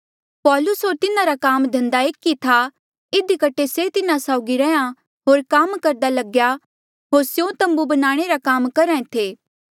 पौलूस होर तिन्हारा काम धंधा एक ई था इधी कठे से तिन्हा साउगी रैंहयां होर काम करदा लग्या होर स्यों तम्बू बनाणे रा काम करहा ऐें थे